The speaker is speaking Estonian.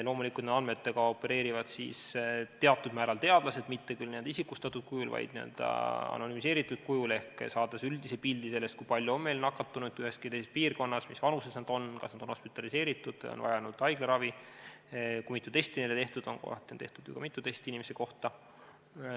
Loomulikult, andmetega opereerivad siis teatud määral teadlased, mitte küll isikustatud kujul, vaid n-ö anonümiseeritud kujul ehk saades üldise pildi, kui palju on meil nakatunuid ühes või teises piirkonnas, mis vanuses nad on, kas nad on hospitaliseeritud, kas nad on vajanud haiglaravi ja kui mitu testi on tehtud, sest kohati on tehtud ju ka mitu testi inimese kohta.